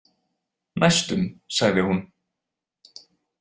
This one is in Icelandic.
Næstum, sagði hún.